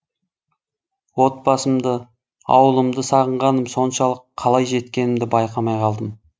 отбасымды ауылымды сағынғаным соншалық қалай жеткенімді байқамай қалдым